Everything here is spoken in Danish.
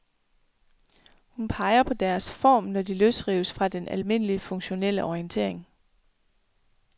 Hun peger på deres form, når de løsrives fra den almindelige funktionelle orientering.